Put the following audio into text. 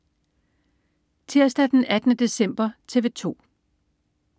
Tirsdag den 18. december - TV 2: